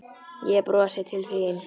Ég brosi til þín.